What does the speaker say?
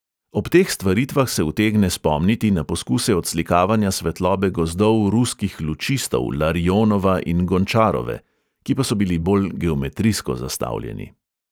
Ob teh stvaritvah se utegne spomniti na poskuse odslikavanja svetlobe gozdov ruskih lučistov larionova in gončarove, ki pa so bili bolj geometrijsko zastavljeni.